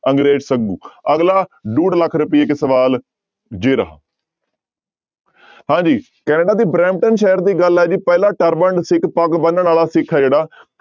ਅੰਗਰੇਜ਼ ਸੱਗੂ ਅਗਲਾ ਡੂਢ ਲੱਖ ਰੁਪਈਏ ਸਵਾਲ ਜੇ ਰਹਾ ਹਾਂਜੀ ਕੈਨੇਡਾ ਦੇ ਬਰੈਨਟਨ ਸ਼ਹਿਰ ਦੀ ਗੱਲ ਆ ਜੀ ਪਹਿਲਾ turbaned ਸਿੱਖ ਪੱਗ ਬੰਨਣ ਵਾਲਾ ਸਿੱਖ ਆ ਜਿਹੜਾ